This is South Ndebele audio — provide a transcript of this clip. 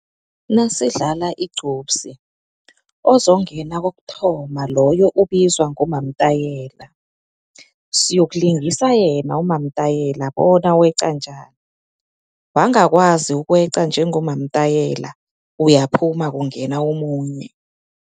Nasidlala igcubsi ozongena kokuthoma loyo ubizwa ngomamtayela, siyokulingisa yena umamtayela bona weqa njani, wangakwazi ukweqa njengomamtayela uyaphuma kungena omunye.